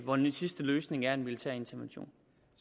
hvor den sidste løsning er en militær intervention